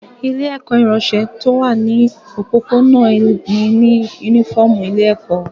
Ilé-ẹ̀kọ́ ìránṣọ tí ó wà ní òpópónà mí ní únífọ́ọ́mù ilé-ẹ̀kọ́.